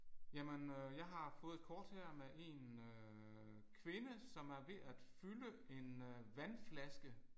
Jamen øh jeg har fået et kort her med en øh kvinde som er ved at fylde en øh vandflaske